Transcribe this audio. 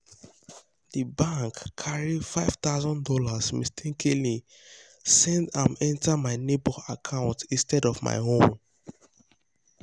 the bank carry five thousand dollars mistakenly send am enter my neighbor account instead of my own.